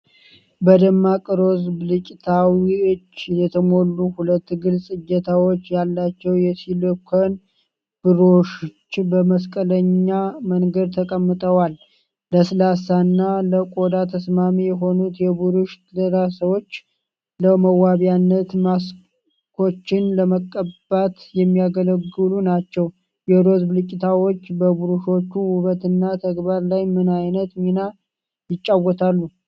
በደማቅ ሮዝ ብልጭታዎች የተሞሉ ሁለት ግልጽ እጀታዎች ያላቸው የሲሊኮን ብሩሾች በመስቀለኛ መንገድ ተቀምጠዋል። ለስላሳ እና ለቆዳ ተስማሚ የሆኑት የብሩሽ ራሶች ለመዋቢያነት ማስኮችን ለመቀባት የሚያገለግሉ ናቸው። የሮዝ ብልጭታዎች በብሩሾቹ ውበትና ተግባር ላይ ምን ዓይነት ሚና ይጫወታሉ?